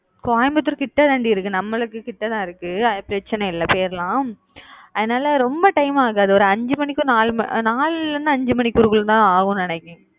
coimbatore கிட்ட தான் டி இருக்கு நம்மளுக்கு கிட்ட தான் இருக்கு பிரச்னை இல்ல போயிடலாம் அதனால ரொம்ப time ஆகாது ஒரு அஞ்சு மணிக்கு நாளுல இருந்து அஞ்சு மணிக்குள்ள தான் ஆகும் நினைக்குறன்